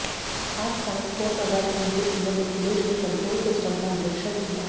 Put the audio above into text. आज ट्रांसपोर्टनगर पहुंचे सीएम अखिलेश ने कंट्रोल सिस्टम का निरीक्षण किया